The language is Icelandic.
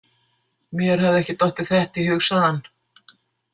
Mér hafði ekki dottið þetta í hug, sagði hann.